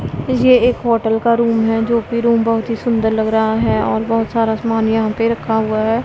ये एक होटल का रुम है जो कि रुम बहुत ही सुंदर लग रहा है और बहुत सारा सामान यहां पे रखा हुआ है।